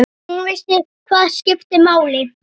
Hún vissi hvað skipti máli.